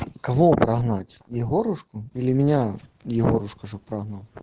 кого прогнать егорушку или меня егорушка чтобы прогнал